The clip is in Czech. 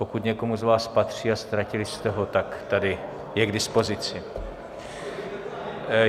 Pokud někomu z vás patří a ztratili jste ho, tak tady je k dispozici.